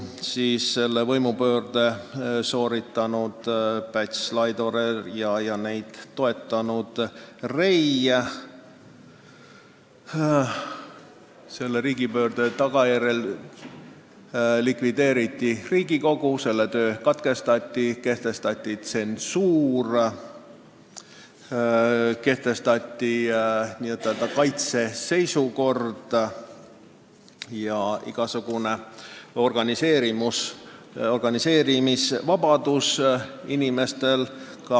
Selle võimupöörde sooritasid Päts, Laidoner ja neid toetanud Rei ning selle tagajärjel likvideeriti Riigikogu, selle töö katkestati, kehtestati tsensuur ja n-ö kaitseseisukord, igasugune organiseerumisvabadus võeti inimestelt ära.